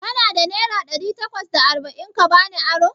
Kana da naira ɗari takwas da arba'in ka bani aro?